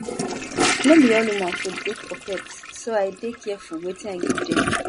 no be all human food good for pets so i dey careful wetin i give dem